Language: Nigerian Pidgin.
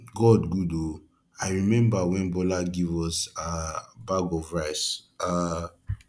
god good oo i remember wen bola give us um bag of rice um